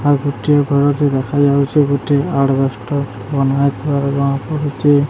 ଆଉ ଗୋଟିଏ ଘରଟେ ଦେଖାଯାଉଛି ଗୋଟିଏ ଆଡବେଷ୍ଟର ବନାହେଇଥିବାର ଜଣାପଡୁଚି